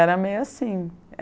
Era meio assim.